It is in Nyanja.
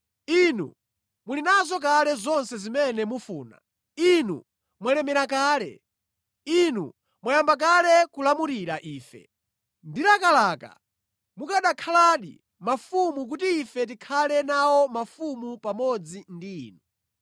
Inu muli nazo kale zonse zimene mufuna! Inu mwalemera kale! Inu mwayamba kale kulamulira ife! Ndilakalaka mukanakhaladi mafumu kuti ife tikhale nawo mafumu pamodzi ndi inu.